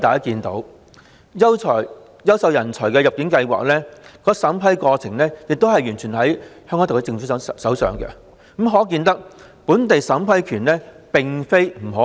此外，優秀人才入境計劃的審批權力完全在香港特區政府的手上，可見本地審批權並非不可行。